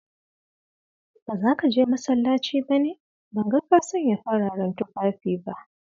Ba zaka je masallaci ba ne, ban ga ka sanya fararen tufafi ba?